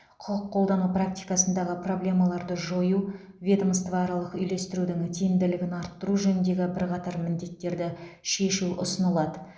құқық қолдану практикасындағы проблемаларды жою ведомствоаралық үйлестірудің тиімділігін арттыру жөніндегі бірқатар міндеттерді шешу ұсынылады